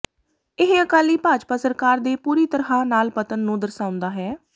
ਇਹ ਅਕਾਲੀ ਭਾਜਪਾ ਸਰਕਾਰ ਦੇ ਪੂਰੀ ਤਰ੍ਹਾਂ ਨਾਲ ਪਤਨ ਨੂੰ ਦਰਸਾਉਂਦਾ ਹੈ